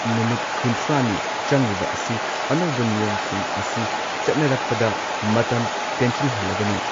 ꯅꯨꯃꯤꯠ ꯀꯨꯟꯊ꯭ꯔꯥꯅꯤ ꯆꯪꯂꯤꯕ ꯑꯁꯤ ꯑꯅꯧꯕ ꯅꯤꯌꯣꯝꯁꯤꯡ ꯑꯁꯤ ꯆꯠꯅꯔꯛꯄꯗ ꯃꯇꯝ ꯇꯦꯟꯁꯤꯜꯍꯜꯂꯒꯅꯤ ꯫